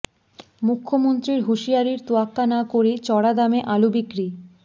মুখ্যমন্ত্রীর হুঁশিয়ারির তোয়াক্কা না করেই চড়া দামে আলু বিক্রি